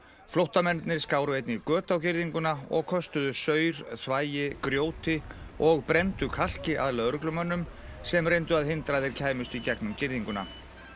flóttamennirnir skáru einnig göt á girðinguna og köstuðu saur þvagi grjóti og brenndu kalki að lögreglumönnum sem reyndu að hindra að þeir kæmust í gegnum girðinguna